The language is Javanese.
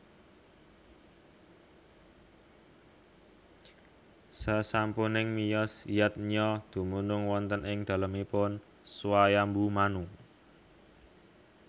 Sasampuning miyos Yadnya dumunung wonten ing dalemipun Swayambu Manu